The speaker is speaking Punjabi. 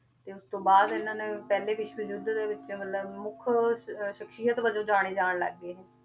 ਤੇ ਉਸ ਤੋਂ ਬਾਅਦ ਇਹਨਾਂ ਨੇ ਪਹਿਲੇ ਵਿਸ਼ਵ ਯੁੱਧ ਦੇ ਵਿੱਚ ਮਤਲਬ ਮੁੱਖ ਸ~ ਸਖ਼ਸੀਅਤ ਵਜੋਂ ਜਾਣੇ ਜਾਣ ਲੱਗ ਗਏ ਇਹ,